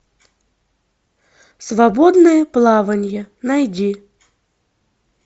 свободное плавание найди